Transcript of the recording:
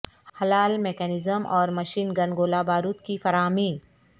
ہلال mechanism اور machine gun گولہ بارود کی فراہمی